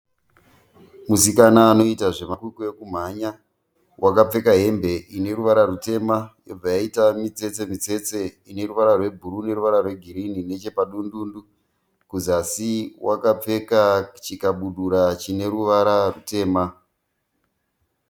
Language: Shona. Musikana anoita zvemakwikwi ekumhanya. Wakapfeka hembe ineruvara rutema yobva yaita mitsetse mitsetse ineruvara rwebhuruu neruvara rwegirinhi nechepadundundu. Kuzasi wakapfeka chikabudura chine ruvara rutema.